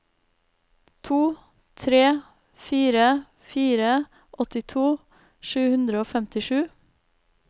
to tre fire fire åttito sju hundre og femtisju